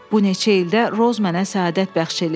Bu neçə ildə Roz mənə səadət bəxş eləyib.